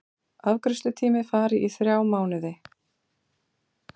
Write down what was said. Afgreiðslutími fari í þrjá mánuði